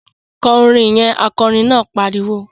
Kọ orin yẹn! Akọrin náà pariwo